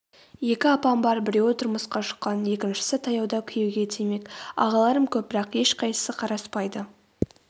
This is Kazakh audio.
екі апам бар біреуі тұрмысқа шыққан екіншісі таяуда күйеуге тимек ағаларым көп бірақ ешқайсысы қараспайды